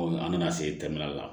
an nana se tɛmɛli la